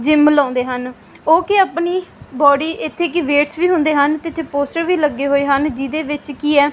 gym ਲਾਉਂਦੇ ਹਨ ਉਹ ਕਿ ਆਪਣੀ ਬਾਡੀ ਇੱਥੇ ਕਿ ਵੇਟਸ ਵੀ ਹੁੰਦੇ ਹਨ ਤੇ ਇੱਥੇ ਪੋਸਟਰ ਵੀ ਲੱਗੇ ਹੋਏ ਹਨ ਜਿਹਦੇ ਵਿੱਚ ਕੀ ਐ --